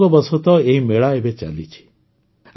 ସଂଯୋଗବଶତଃ ଏହି ମେଳା ଏବେ ଚାଲିଛି